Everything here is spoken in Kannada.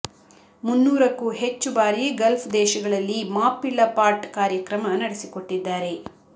ಮುನ್ನೂರಕ್ಕೂ ಹೆಚ್ಚು ಬಾರಿ ಗಲ್ಫ್ ದೇಶಗಳಲ್ಲಿ ಮಾಪಿಳ್ಳ ಪಾಟ್ಟ್ ಕಾರ್ಯಕ್ರಮ ನಡೆಸಿಕೊಟ್ಟಿದ್ದಾರೆ